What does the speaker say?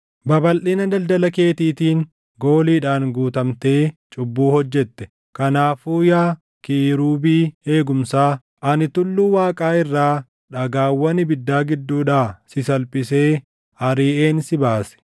Babalʼina daldala keetiitiin gooliidhaan guutamtee cubbuu hojjette. Kanaafuu yaa kiirubii eegumsaa, ani tulluu Waaqaa irraa dhagaawwan ibiddaa gidduudhaa si salphisee ariʼeen si baase.